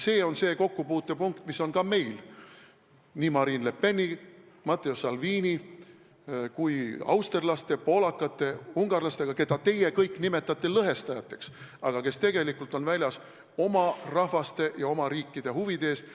See on see kokkupuutepunkt, mis on meil Marine Le Peni, Matteo Salvini ning austerlaste, poolakate ja ungarlastega, keda teie nimetate lõhestajateks, aga kes tegelikult on väljas oma rahva ja riigi huvide eest.